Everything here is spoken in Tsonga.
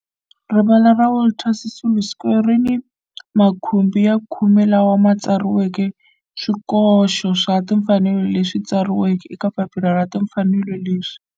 Rivala ra Walter Sisulu Square ri ni makhumbi ya khume lawa ma tsariweke swikoxo swa timfanelo leswi tsariweke eka papila ra timfanelo leswi.